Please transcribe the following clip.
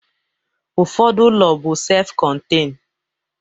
Ụfọdụ ụlọ bụ sef kọntein